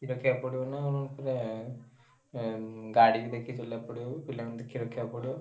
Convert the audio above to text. ଦେଖିଆକୁ ପଡିବ ନା ପୁରା ଆଁ ଗାଡିକି ଦେଖି ଚଳେଇଆକୁ ପଡିବ ବି ପିଲାଙ୍କୁ ଦେଖି ରଖିଆକୁ ପଡିବ।